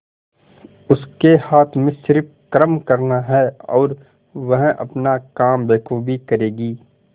उसके हाथ में सिर्फ कर्म करना है और वह अपना काम बखूबी करेगी